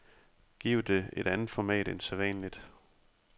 Giv det et andet format end sædvanligt.